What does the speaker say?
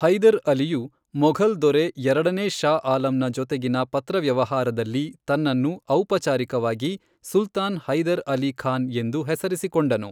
ಹೈದರ್ ಅಲಿಯು, ಮೊಘಲ್ ದೊರೆ ಎರಡನೇ ಶಾ ಆಲಂ ಜೊತೆಗಿನ ಪತ್ರವ್ಯವಹಾರದಲ್ಲಿ ತನ್ನನ್ನು ಔಪಚಾರಿಕವಾಗಿ ಸುಲ್ತಾನ್ ಹೈದರ್ ಅಲಿ ಖಾನ್ ಎಂದು ಹೆಸರಿಸಿಕೊಂಡನು.